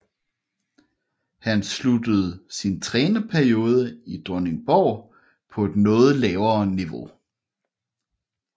Han sluttede sin trænerperiode i Dronningborg på et noget lavere niveau